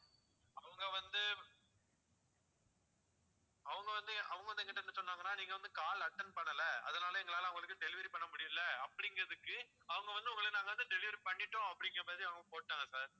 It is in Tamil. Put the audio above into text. அவங்க வந்து அவங்க வந்துஅவங்க வந்து என்கிட்ட என்ன சொன்னாங்கன்னா நீங்க வந்து call attend பண்ணல அதனால எங்களால அவங்களுக்கு delivery பண்ண முடியல அப்படிங்கறதுக்கு அவங்க வந்து உங்களை நாங்க வந்து delivery பண்ணிட்டோம் அப்படிங்கற மாதிரி அவங்க போட்டாங்க sir